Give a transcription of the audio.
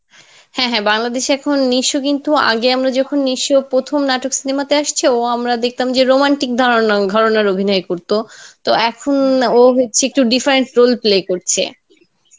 হ্যাঁ হ্যাঁ, বাংলাদেশে এখন নিশ কিন্তু আগে আমরা যখন নিশর প্রথম নাটক cinema তে আসছে ও আমরা দেখতাম যে romantic ধরনা ঘরনার অভিনয় করতো, তো এখন ও হচ্ছে একটু different role play করছে